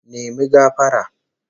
Apologise!